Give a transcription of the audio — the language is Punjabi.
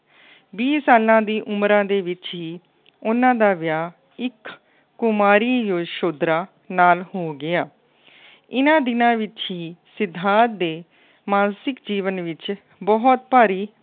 ਵੀਹ ਸਾਲਾਂ ਦੀ ਉਮਰਾਂ ਦੇ ਵਿੱਚ ਹੀ ਉਹਨਾ ਦਾ ਵਿਆਹ ਇੱਕ ਕੁਮਾਰੀ ਯਸ਼ੋਧਰਾ ਨਾਲ ਹੋ ਗਿਆ। ਇਹਨਾ ਦਿਨਾਂ ਵਿੱਚ ਹੀ ਸਿਧਾਰਥ ਦੇ ਮਾਨਸਿਕ ਜੀਵਨ ਵਿੱਚ ਬਹੁਤ ਭਾਰੀ